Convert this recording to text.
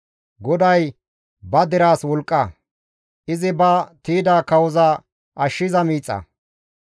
GODAY ba deraas wolqqa; izi ba tiyda kawoza ashshiza miixa.